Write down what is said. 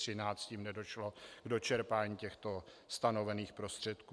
Tím nedošlo k dočerpání těchto stanovených prostředků.